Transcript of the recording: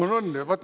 On-on!